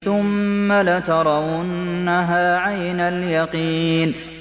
ثُمَّ لَتَرَوُنَّهَا عَيْنَ الْيَقِينِ